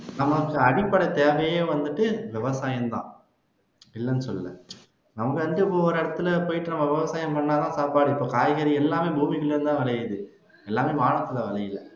நமக்கு அடிப்படை தேவையே வந்துட்டு விவசாயந்தான் இல்லைன்னு சொல்லல நம்ம வந்துட்டு இப்போ ஒரு இடத்துல போயிட்டு நம்ம விவசாயம் பண்ணாதான் சாப்பாடு இப்போ காய்கறி எல்லாமே பூமிக்குள்ள இருந்து தான் விளையுது எல்லாமே வானத்துல விளையல